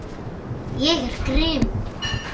Ég er grimm.